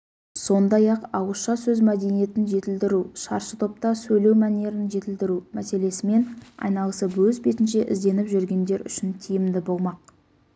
сондай-ақ ауызша сөз мәдениетін жетілдіру шаршытопта сөйлеу мәнерін жетілдіру мәселесімен айналысып өз бетінше ізденіп жүргендер үшін тиімді болмақ